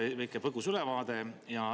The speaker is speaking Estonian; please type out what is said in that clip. Andke väike põgus ülevaade!